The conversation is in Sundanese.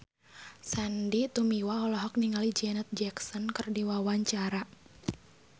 Sandy Tumiwa olohok ningali Janet Jackson keur diwawancara